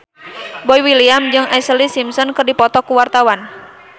Boy William jeung Ashlee Simpson keur dipoto ku wartawan